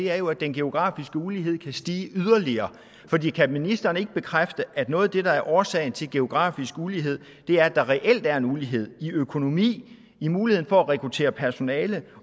er jo at den geografiske ulighed kan stige yderligere kan ministeren ikke bekræfte at noget af det der er årsagen til geografisk ulighed er at der reelt er en ulighed i økonomi i muligheden for at rekruttere personale